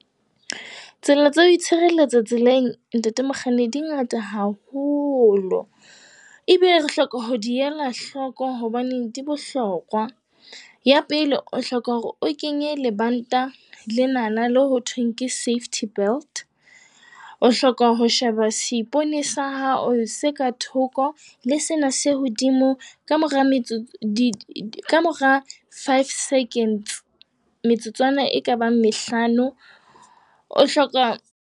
Tsela tsa ho itshireletsa tseleng, ntate mokganni, di ngata haholo. Ebe re hloka ho di ela hloko hobaneng di bohlokwa. Ya pele, o hloka hore o kenye lebanta lenana le ho thweng ke safety belt. O hloka ho sheba seipone sa hao se ka thoko le sena se hodimo ka mora metsotso kamora five seconds, metsotswana ekabang mehlano. O hloka.